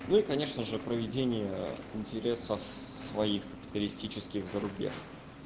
ну и конечно же проведение интересов своих туристических за рубеж